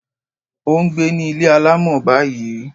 Ó n gbé ní Ilé alámọ̀ báyìí